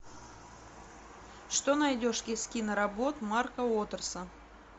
что найдешь из киноработ марка уотерса